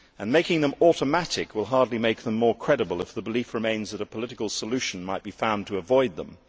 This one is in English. Making them automatic will hardly make them more credible if the belief remains that a political solution might be found to avoid them.